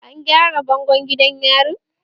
An gyara bangon gidan yarin?